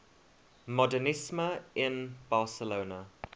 modernisme in barcelona